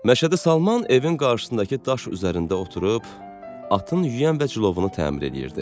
Məşədi Salman evin qarşısındakı daş üzərində oturub atın yüyən və cilovunu təmir eləyirdi.